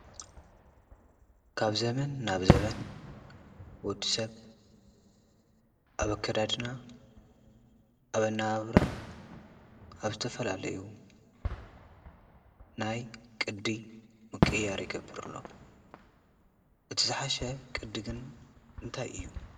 ካብ ዘበን ናብ ዘመን ወዲ ሰብ ኣብ ኣከዳድና ኣብ ኣነባብራ ኣብ ዝተፈላለዩ ናይ ቅዲ ምቅይያር ይገበር ኣሎ እቲ ዝሓሸ ቅዲ ግን እንታይ እዩ?